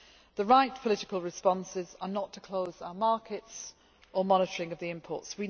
The right political responses are not to close our markets or monitoring of the imports.